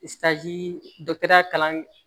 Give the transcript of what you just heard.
ya kalan